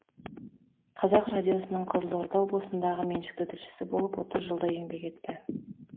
қазақ радиосының қызылорда облысындағы меншікті тілшісі болып отыз жылдай еңбек етті